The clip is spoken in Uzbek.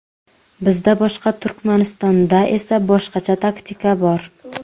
Bizda boshqa, Turkmanistonda esa boshqacha taktika bor.